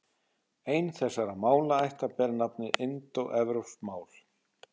Ein þessara málaætta ber nafnið indóevrópsk mál.